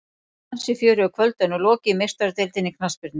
Ansi fjörugu kvöldi er nú lokið í Meistaradeildinni í knattspyrnu.